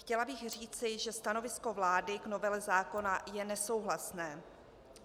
Chtěla bych říci, že stanovisko vlády k novele zákona je nesouhlasné.